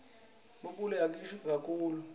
ilipompo yiyashisa kakitulu